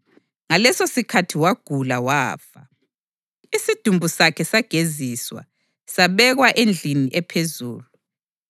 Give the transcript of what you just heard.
Ngalesosikhathi wagula wafa, isidumbu sakhe sageziswa, sabekwa endlini ephezulu.